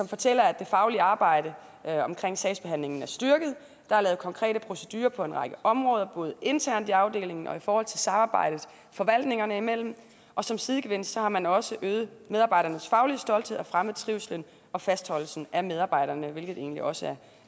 fortæller at det faglige arbejde omkring sagsbehandlingen er styrket der er lavet konkrete procedurer på en række områder både internt i afdelingen og i forhold til samarbejdet forvaltningerne imellem og som sidegevinst har man også øget medarbejdernes faglige stolthed og fremmet trivslen og fastholdelsen af medarbejderne hvilket egentlig også